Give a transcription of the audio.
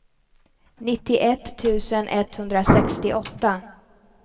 nittioett tusen etthundrasextioåtta